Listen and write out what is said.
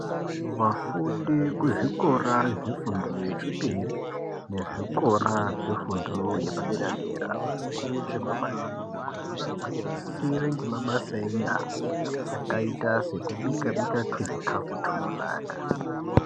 Vafundi kuzvikora zvefundo yechipiri nezvikora zvefundo yepadera dera vanokurudzirwa maningi kuti vagwinyisire nhemabasa enyara akaita sekubikabika tuzvikafu tunonaka.